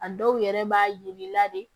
A dɔw yɛrɛ b'a yir'i la de